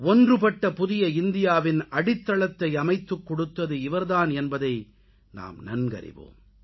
ஒன்றுபட்ட புதிய இந்தியாவின் அடித்தளத்தை அமைத்துக் கொடுத்தது இவர் தான் என்பதை நாம் நன்கறிவோம்